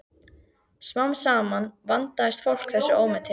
Smám saman vandist fólk þessu ómeti.